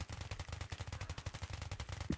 Einmitt það sem bréfin áttu að fjármagna.